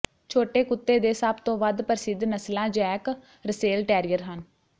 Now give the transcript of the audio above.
ਛੋਟੇ ਕੁੱਤੇ ਦੇ ਸਭ ਤੋਂ ਵੱਧ ਪ੍ਰਸਿੱਧ ਨਸਲਾਂ ਜੈਕ ਰਸੇਲ ਟੈਰੀਅਰ ਹਨ